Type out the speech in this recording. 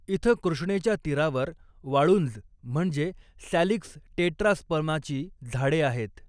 इथं कृष्णेच्या तीरावर वाळुंज म्हणजे सॅलिक्स टेट्रास्पर्माची झाडे आहेत.